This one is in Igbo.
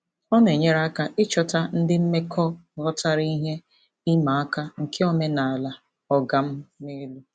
Ọ na-enyere aka ịchọta ndị mmekọ ghọtara ihe ịma aka nke omenala "ọga m n'elu".